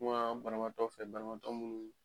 Kuma banabaatɔ fɛ banabaatɔ mun